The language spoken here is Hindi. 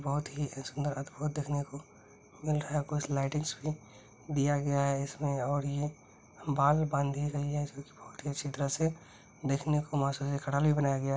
बहुत ही सुन्दर अद्भूत देखने को मिल रहा है| कुछ लाइटिंग भी दिया गया है इसमें और ये बाल बंधे गए हैं बहुत ही अच्छी तरह से देखने को है|